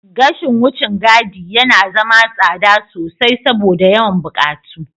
Gashin wucin gadi yana zama tsada sosai saboda yawan buƙatu.